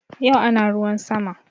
Yau ana ruwan sama